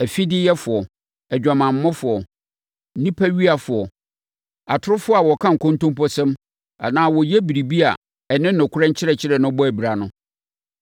afideyɛfoɔ, adwamammɔfoɔ, nnipawiafoɔ, atorofoɔ a wɔka nkontomposɛm anaa wɔyɛ biribi a ɛne nokorɛ nkyerɛkyerɛ no bɔ abira no.